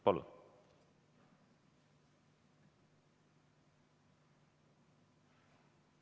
Palun!